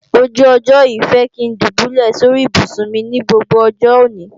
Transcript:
ojú ọjọ́ yìí fẹ́ kí ń dùbúlẹ̀ sóri ibùsùn mi ní gbogbo ọjọ́ òní